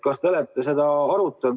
Kas te olete seda arutanud?